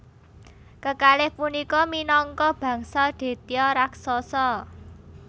Kekalih punika minangka bangsa Detya raksasa